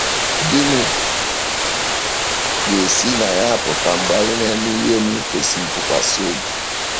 Gịnị ga-esi na ya apụta mgbe anyị ‘na-eme ihe n’ikwèsị ntụkwàsị obi’?